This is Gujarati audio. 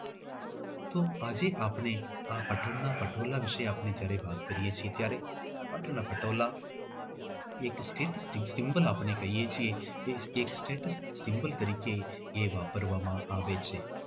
તો આજે આપણે આ પાટણ ના પટોળા એમના વિશે આપણે વાત કરીએ છીએ ત્યારે પાટણના પટોળા એક symbol થી આપણે કહીએ છીએ કે એક status sample તરીકે વાપરવામાં આવે છે.